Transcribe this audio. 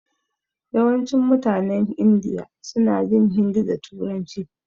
Yawancin mutanen Indiya suna jin hindi da turanci.